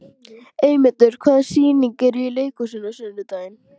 Eymundur, hvaða sýningar eru í leikhúsinu á sunnudaginn?